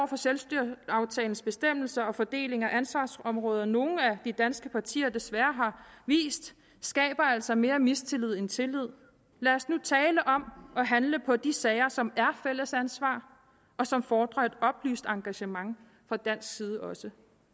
for selvstyreaftalens bestemmelser og fordelingen af ansvarsområderne som nogle af de danske partier desværre har vist skaber altså mere mistillid end tillid lad os nu tale om at handle på de sager som er fælles ansvar og som fordrer et oplyst engagement fra dansk side også